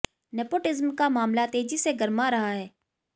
nepotism का मामला तेजी से गरमा रहा है